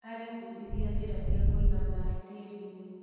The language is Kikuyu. Arebundithia njĩra cia kũiga maĩ tĩrinĩ.